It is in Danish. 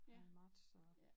Her i marts så